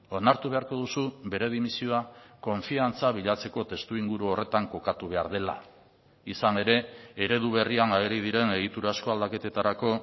onartu beharko duzu bere dimisioa konfiantza bilatzeko testuinguru horretan kokatu behar dela izan ere eredu berrian ageri diren egiturazko aldaketetarako